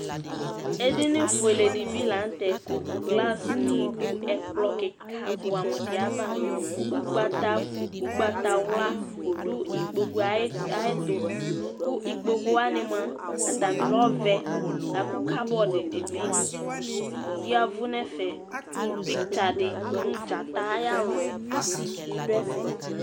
Edini fueledi bi la n'tɛ kʋ glaceni dʋ ɛkplɔ kikibʋɛ amʋ di ava, ʋgbatawla dʋ ikpoku yɛ ayɛtʋ, kʋ ikpokʋwani mua, atani kɛ ɔvɛ lakʋ cupboard dini bi yavʋ n'ɛfɛ kʋ picture di nʋ Dzata ayalɔ yɛ bi dʋ ɛfɛ